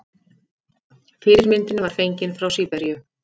Fyrirmyndin var fengin frá Síberíu.